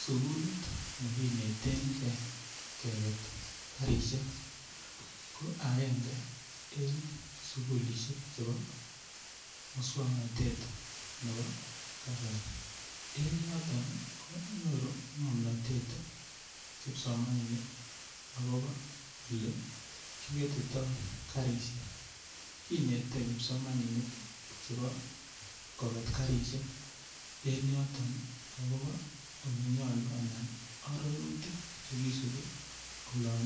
Sukulit nekineten kei keket karishek ko agenge en sukulishek chebo muswang'natetab nebo kasari en yoton ko nyoru ng'omnotet kipsomaninik akobo ole kiketitoi karishek kinete kipsomaninik chebo koket karishek en yoton akobo ole nyolu anan arorutik chekisubi olon